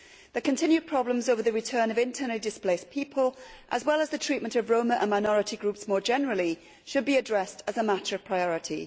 The continued problems over the return of internally displaced people, as well as the treatment of Roma and minority groups more generally, should be addressed as a matter of priority.